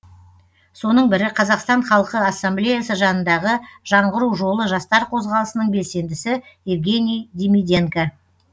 соның бірі қазақстан халқы ассамблеясы жанындағы жаңғыру жолы жастар қозғалысының белсендісі евгений демиденко